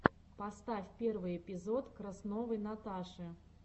поставь первый эпизод красновой наташи